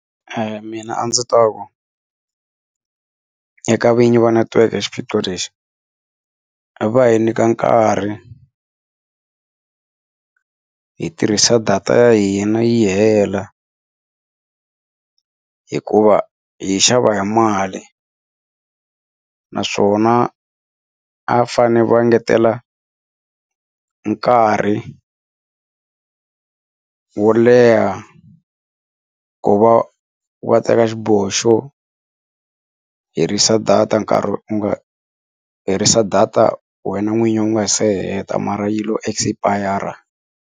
mina a ndzi ta ku eka vinyi va netiweke xiphiqo lexi hi va hi nyika nkarhi hi tirhisa data ya hina yi hela hikuva hi yi xava hi mali naswona a va fanele va ngetela nkarhi wo leha ku va va teka xiboho xo herisa data nkarhi u nga herisa data wena n'winyi u nga se heta mara yilo expire.